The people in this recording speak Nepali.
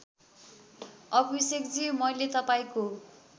अभिषेकजी मैले तपाईँको